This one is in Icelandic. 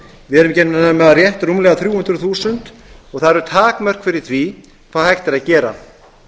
við erum ekki nema rétt rúmlega þrjú hundruð þúsund og það eru takmörk fyrir því hvað hægt er að gera